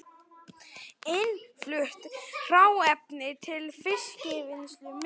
Innflutt hráefni til fiskvinnslu minnkar